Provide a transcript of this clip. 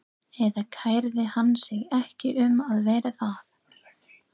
Eða kærði hann sig ekki um að vera það?